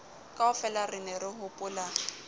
kaofela re ne re hopola